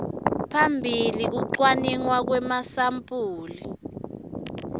phambili kucwaningwa kwemasampuli